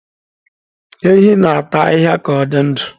Ehi na-ata ahịhịa ka ọ dị ndụ.